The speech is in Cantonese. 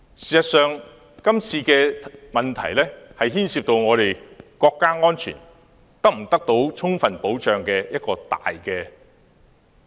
事實上，這次事件涉及國家安全是否得到充分保障。